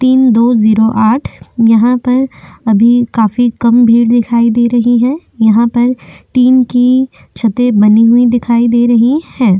तीन दो जीरो आठ यहाँ पर अभी काफी कम भीड़ दिखाई दे रही है यहाँ पर टीन की छते बनी हुई दिखाई दे रही है।